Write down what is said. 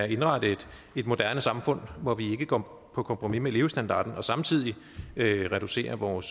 indrette et moderne samfund hvor vi ikke går på kompromis med levestandarden og samtidig reducerer vores